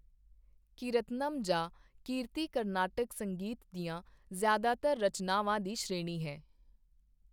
ਦੱਖਣ ਪੂਰਬ ਅਤੇ ਬੰਗਾਲ ਖਾੜੀ ਦੀ ਮੱਧ ਅਤੇ ਦਖਣ ਪੱਛਮ ਦੇ ਨਜਦੀਕੀ ਖੇਤਰ